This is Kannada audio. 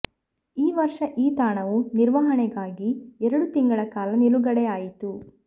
ಈ ವರ್ಷ ಈ ತಾಣವೂ ನಿರ್ವಹಣೆಗಾಗಿ ಎರಡು ತಿಂಗಳ ಕಾಲ ನಿಲುಗಡೆಯಾಯಿತು